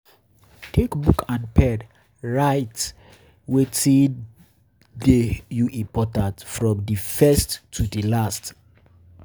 Take book and pen write and pen write wetin dey you important from di first to di last